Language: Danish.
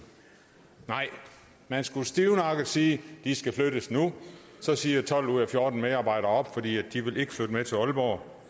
nej man skulle stivnakket sige de skal flyttes nu så siger tolv ud af fjorten medarbejdere op fordi de ikke vil flytte med til aalborg